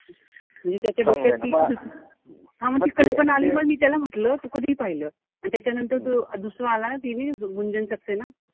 म्हणजे त्याच्या डोक्यात ती हा म ती कल्पना आली म मी त्याला म्हंटल तू कधी पाहिलं. अन त्याच्यानंतर तो दुसरा आला. गुंजन सक्सेना,